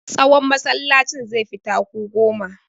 Tsawon masallacin zai fi taku goma.